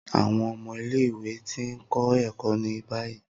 Awọn ọmọ ile-iwe ti n kọ ẹkọ ni bayi.